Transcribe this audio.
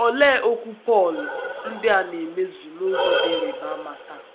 Olee okwu Pọl ndị a na - emezu n’ụzọ dị ịrịba ama taa?